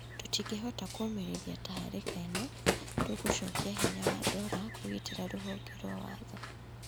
Tũtingĩhota kũũmĩrĩria tharĩka ĩno, tũgũcokia na hinya wa ndora kũgitĩra rũhonge rwa watho."